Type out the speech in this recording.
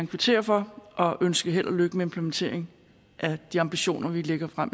kvittere for og ønske held og lykke med indfrielse af de ambitioner vi lægger frem